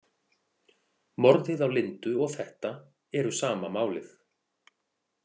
Morðið á Lindu og þetta eru sama málið.